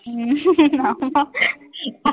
உம்